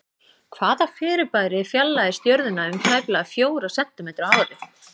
Hvaða fyrirbæri fjarlægist Jörðina um tæplega fjóra sentímetra á ári?